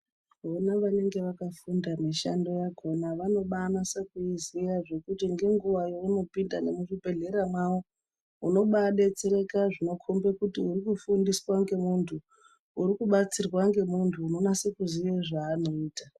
Kuona vanenge vakafunda mishando yakona vanobanase kuiziya zvekuti ngenguva yeunopinda nemuzvibhedhlera mwawo unobadetsereka zvinokombe kuti uri kufundiswa ngemuntu uri kubatsirwa ngemuntu unonase kuziya zveanoita.